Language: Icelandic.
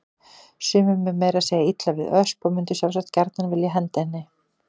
Sumum er meira að segja illa við Ösp og mundu sjálfsagt gjarnan vilja henda henni.